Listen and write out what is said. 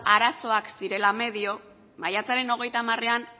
arazoak zirela medio maiatzaren hogeita hamarean